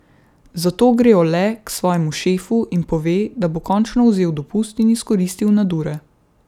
Zato gre Ole k svojemu šefu in pove, da bo končno vzel dopust in izkoristil nadure.